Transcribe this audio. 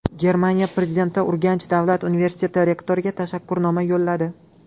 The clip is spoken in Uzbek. Germaniya prezidenti Urganch davlat universiteti rektoriga tashakkurnoma yo‘lladi.